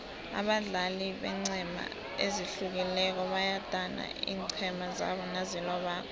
abadlali beenqhema ezihlukileko bayadana iinqhema zabo nazilobako